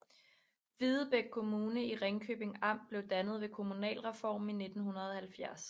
Videbæk Kommune i Ringkøbing Amt blev dannet ved kommunalreformen i 1970